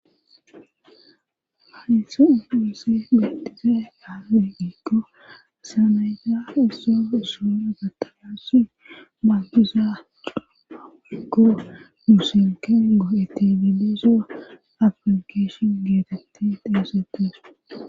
Hayisuu uusse betise ale ikko saanayta isso isson agatalaasi magguza coo ikko musenken goo etibide soa aplikeshon geetetti teesetes.